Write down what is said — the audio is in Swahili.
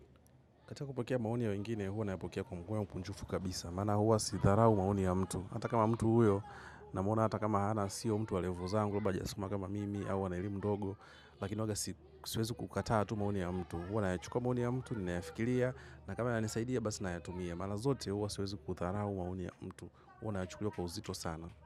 Katika kupokea maoni ya wengine, hua nayapokea kwa moyo mkunjufu kabisa. Maana huwa sidharau maoni ya mtu. Hata kama mtu huyo, namuona hata kama hana sio mtu walevo zangu, labda haja soma kama mimi, au ana elimu ndogo. Lakini huwaga siwezi kukataa tu maoni ya mtu. Hua naya chukua maoni ya mtu, ninaya fikiria. Na kama yanani saidia, basi nayatumia. Mara zote huwa ziwezi kudharau maoni ya mtu. Huwa nayachukulia kwa uzito sana.